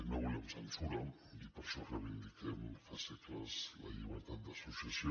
no volem censura i per això reivindiquem fa segles la llibertat d’associació